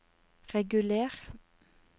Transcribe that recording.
reguler